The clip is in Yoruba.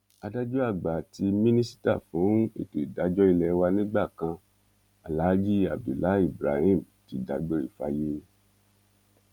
adájọ àgbà àti mínísítà fún ètò ìdájọ ilé wa nígbà kan aláàjì abdullahi ibrahim ti dágbére fáyé